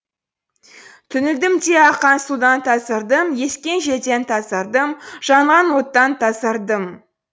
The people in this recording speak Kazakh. түңілдім де аққан судан тазардым ескен желден тазардым жанған оттан тазардым